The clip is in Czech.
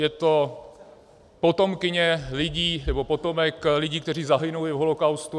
Je to potomkyně lidí, nebo potomek lidí, kteří zahynuli v holokaustu.